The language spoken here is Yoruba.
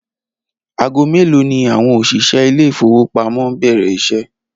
Aago mélòó ni àwo̩n òs̩ìs̩é̩ ilé ìfowópamó ń bè̩rè̩ is̩é̩?